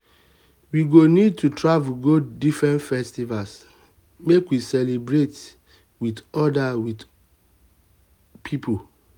we go need to travel go different festivals make we celebrate wit oda wit oda pipo. um